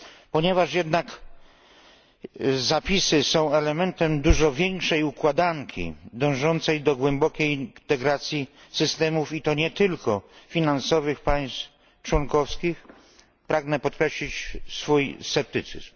Ponieważ jednak zapisy są elementem dużo większej układanki dążącej do głębokiej integracji systemów i to nie tylko finansowych państw członkowskich, pragnę podkreślić swój sceptycyzm.